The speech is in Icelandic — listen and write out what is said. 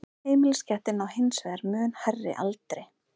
heimiliskettir ná hins vegar mun hærri aldri